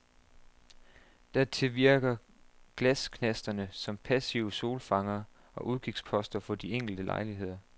Dertil virker glasknasterne som passive solfangere og udkigsposter for de enkelte lejligheder.